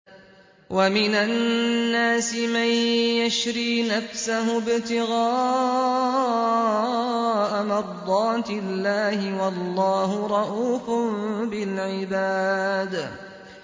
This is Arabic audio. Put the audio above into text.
وَمِنَ النَّاسِ مَن يَشْرِي نَفْسَهُ ابْتِغَاءَ مَرْضَاتِ اللَّهِ ۗ وَاللَّهُ رَءُوفٌ بِالْعِبَادِ